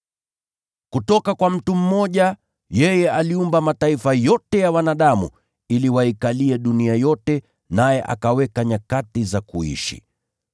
Kutoka kwa mtu mmoja, yeye aliumba mataifa yote ya wanadamu ili waikalie dunia yote, naye akaweka nyakati za kuishi.